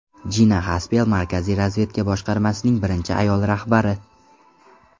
Jina Xaspel Markaziy razvedka boshqarmasining birinchi ayol rahbari.